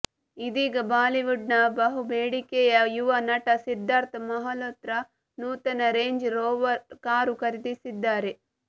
ಇದೀಗ ಬಾಲಿವುಡ್ನ ಬಹುಬೇಡಿಕೆಯ ಯುವ ನಟ ಸಿದ್ಧಾರ್ಥ್ ಮಲ್ಹೋತ್ರ ನೂತನ ರೇಂಜ್ ರೋವರ್ ಕಾರು ಖರೀದಿಸಿದ್ದಾರೆ